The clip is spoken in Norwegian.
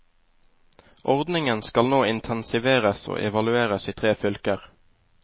Ordningen skal nå intensiveres og evalueres i tre fylker.